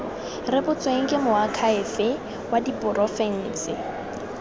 rebotsweng ke moakhaefe wa porofense